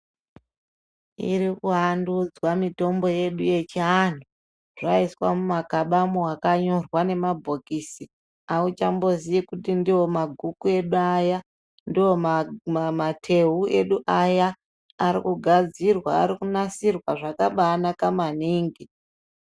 Irikuandudzwa mutombo yedu yechiantu zvaiswa mumakabamo makanyorwa nemumabhokisi auchambozii kuti ndiwo maguku edu aya ndiwo mateu edu aya arikugadzirwa arikunasirwa zvakabanaka maningi.